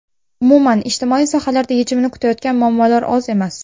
Umuman, ijtimoiy sohalarda yechimini kutayotgan muammolar oz emas.